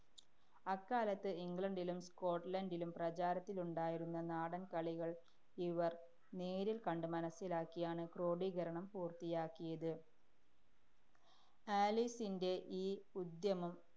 അക്കാലത്ത് ഇംഗ്ലണ്ടിലും സ്കോട്ട്ലന്‍ഡിലും പ്രചാരത്തിലുണ്ടായിരുന്ന നാടന്‍കളികള്‍ ഇവര്‍ നേരില്‍ കണ്ട് മനസ്സിലാക്കിയാണ് ക്രോഡീകരണം പൂര്‍ത്തിയാക്കിയത് ആലീസിന്‍റെ ഈ ഉദ്യമം